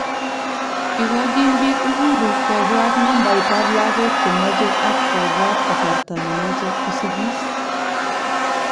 Ikochin pik uhuru ipwat nabait ap lagok chemache ak kopwat kasarta nepache kosikis.